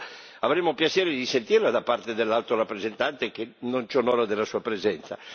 Certo, avremmo piacere di sentirla da parte dell'Alto rappresentante che non ci onora della sua presenza.